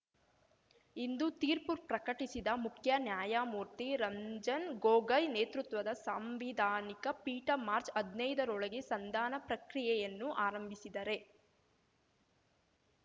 ಇಂದು ತೀರ್ಪು ಪ್ರಕಟಿಸಿದ ಮುಖ್ಯ ನ್ಯಾಯಮೂರ್ತಿ ರಂಜನ್ ಗೊಗಯ್ ನೇತೃತ್ವದ ಸಾಂವಿಧಾನಿಕ ಪೀಠ ಮಾರ್ಚ್ ಹದ್ನೈದ ರೊಳಗೆ ಸಂಧಾನ ಪ್ರಕ್ರಿಯೆಯನ್ನು ಆರಂಭಿಸಿದರೆ